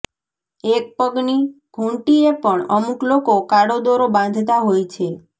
એક પગની ધુંટીએ પણ અમુક લોકો કાળો દોરો બાંધતાં હોય છે